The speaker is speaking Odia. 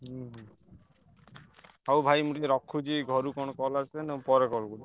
ହୁଁ ହୁଁ ହଉ ଭାଇ ମୁଁ ଟିକେ ରଖୁଛି ଘରୁ କଣ call ଆସିଲାଣି ପରେ call କରୁଛି।